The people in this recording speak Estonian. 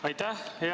Aitäh!